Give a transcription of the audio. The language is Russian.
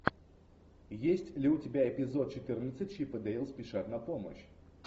есть ли у тебя эпизод четырнадцать чип и дейл спешат на помощь